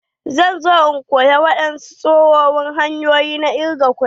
Zan zo in koya wadansu tsohon hanyoyi na ƙirga kuɗi.